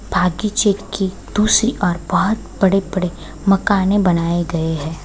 भाग्य क्षेत्र की दूसरी और बोहोत बड़े-बड़े मकाने बनाये गए हैं।